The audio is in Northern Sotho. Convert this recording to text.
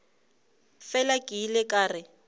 fela ke ile ka re